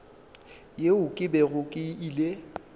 yeo ke bego ke ile